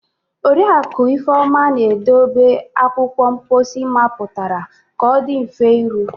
Oriakụ Ifeoma na-edobe akwụkwọ mposi mapụtara ka ọ dị mfe iru.